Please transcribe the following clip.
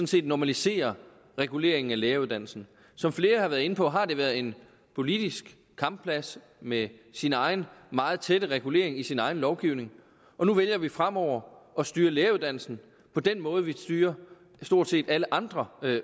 set normaliserer reguleringen af læreruddannelsen som flere har været inde på har det været en politisk kampplads med sin egen meget tætte regulering i sin egen lovgivning og nu vælger vi fremover at styre læreruddannelsen på den måde vi styrer stort set alle andre